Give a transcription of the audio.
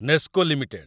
NESCO limited